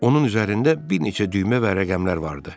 Onun üzərində bir neçə düymə və rəqəmlər vardı.